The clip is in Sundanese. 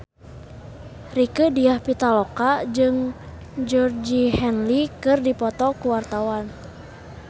Rieke Diah Pitaloka jeung Georgie Henley keur dipoto ku wartawan